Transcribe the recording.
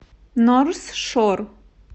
норс шор